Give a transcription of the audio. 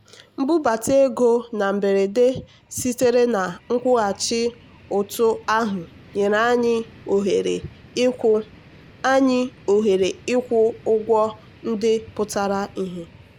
mbubata ego na mberede sitere na nkwụghachi ụtụ ahụ nyere anyị ohere ịkwụ anyị ohere ịkwụ ụgwọ ndị pụtara ìhè.